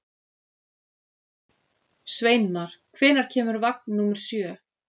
Sveinmar, hvenær kemur vagn númer sjö?